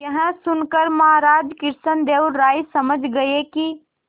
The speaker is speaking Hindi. यह सुनकर महाराज कृष्णदेव राय समझ गए कि